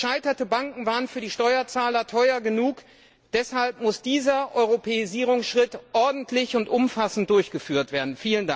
Gescheiterte Banken waren für die Steuerzahler teuer genug, deshalb muss dieser Europäisierungsschritt ordentlich und umfassend durchgeführt werden.